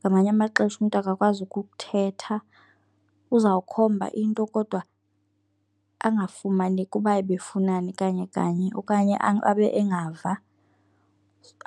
ngamanye amaxesha umntu akakwazi ukuthetha. Uzawukhomba into kodwa angafumaneki ukuba ebefunani kanye kanye okanye abe engava,